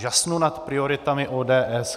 Žasnu nad prioritami ODS.